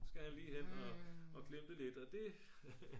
skal han lige hen og glimte lidt og det